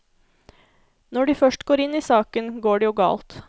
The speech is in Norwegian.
Når de først går inn i saken, går det jo galt.